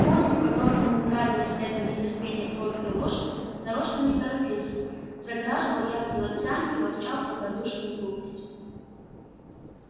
конюх которому нравилось это нетерпение кроткой лошади нарочно не торопился загораживал ясли локтями и ворчал с добродушною грубостью